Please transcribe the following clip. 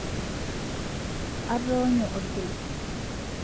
atoonyo orpilis